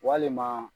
Walima